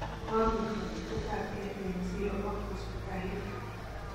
kobit kachutet ab kei eng zero ak hosiptalit